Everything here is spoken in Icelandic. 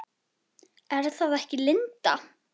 Er það ekki Linda?